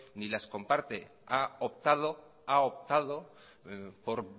ni las comparte ha optado por